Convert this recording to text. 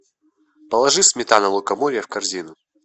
положи сметана лукоморье в корзину